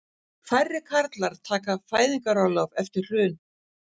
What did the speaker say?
Færri karlar taka fæðingarorlof eftir hrun